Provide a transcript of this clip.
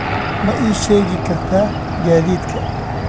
ma ii sheegi kartaa gaadiidka